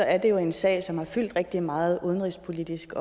er det jo en sag som har fyldt rigtig meget udenrigspolitisk